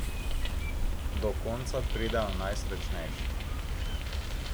Do konca pridejo najsrečnejši.